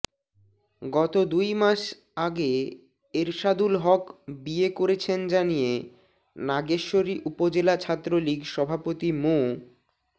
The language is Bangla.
গত দুই মাস আগে এরশাদুল হক বিয়ে করেছেন জানিয়ে নাগেশ্বরী উপজেলা ছাত্রলীগ সভাপতি মো